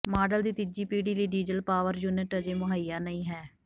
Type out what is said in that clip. model ਦੀ ਤੀਜੀ ਪੀੜ੍ਹੀ ਲਈ ਡੀਜ਼ਲ ਪਾਵਰ ਯੂਨਿਟ ਅਜੇ ਮੁਹੱਈਆ ਨਹੀਂ ਹੈ